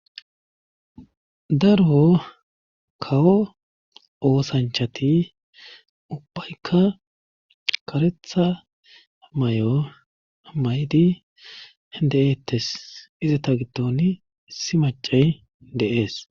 Darbo kawo oosanchati ubbaykka karetha may'o maydi de'eettes izata giddoni issi macay de'ees.